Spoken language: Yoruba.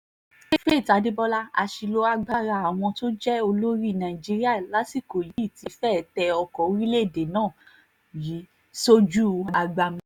faith adébọlá àṣìlò agbára àwọn tó jẹ́ olórí nàìjíríà lásìkò yìí ti fẹ́ẹ̀ tẹ ọkọ̀ orílẹ̀‐èdè náà rì sójú agbami